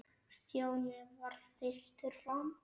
Stjáni varð fyrstur fram.